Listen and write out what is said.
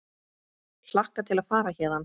Hlakka til að fara héðan.